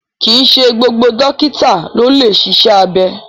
Kìí ṣe gbogbo dókítà ló lè ṣiṣẹ́ abẹ